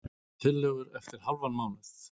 Tillögur eftir hálfan mánuð